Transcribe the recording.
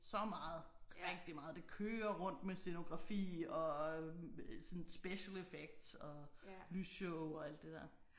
Så meget rigtig meget det kører rundt med scenografi og sådan special effects og lysshow og alt det der